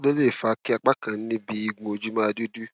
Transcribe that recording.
kí ló lè fà á kí apá kan níbi igun ojú máa dúdú